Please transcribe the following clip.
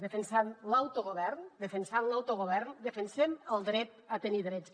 defensant l’autogovern defensant l’autogovern defensem el dret a tenir drets